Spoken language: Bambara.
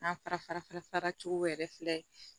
An fara fara cogo yɛrɛ filɛ